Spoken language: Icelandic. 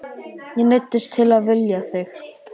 Ég neyddist til að vilja þig.